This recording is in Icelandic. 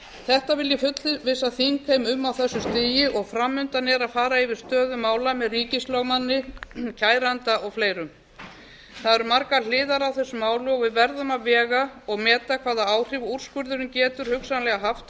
þetta vil ég fullvissa þingheim um á þessu stigi og fram undan er að fara yfir stöðu mála með ríkislögmanni kæranda og fleirum það eru margar hliðar á þessu máli og við verðum að vega og meta hvaða áhrif úrskurðurinn getur hugsanlega haft á